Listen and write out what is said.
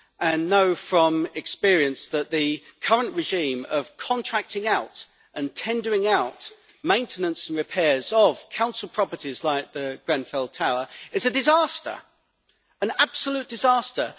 I know from experience that the current regime of contracting out and tendering out maintenance and repairs of council properties, like the Grenfell Tower, is an absolute disaster.